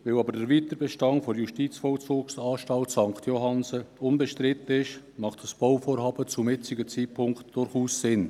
Weil jedoch der Weiterbestand der JVA St. Johannsen unbestritten ist, macht dieses Bauvorhaben zum jetzigen Zeitpunkt durchaus Sinn.